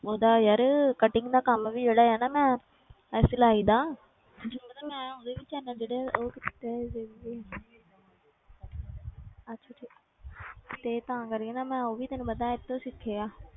ਉਹਦਾ ਯਾਰ cutting ਦਾ ਕੰਮ ਵੀ ਜਿਹੜਾ ਆ ਨਾ ਮੈਂ ਇਹ ਸਿਲਾਈ ਦਾ ਤੈਨੂੰ ਪਤਾ ਮੈਂ ਉਹਦੇ ਵੀ channel ਜਿਹੜੇ ਉਹ ਕੀਤੇ ਹੋਏ ਆ save ਵੀ ਅੱਛਾ ਠੀਕ ਹੈ ਤੇ ਤਾਂ ਕਰਕੇ ਨਾ ਮੈਂ ਉਹ ਵੀ ਤੈਨੂੰ ਪਤਾ ਇਹ ਤੋਂ ਸਿੱਖੇ ਆ,